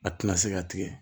A tɛna se ka tigɛ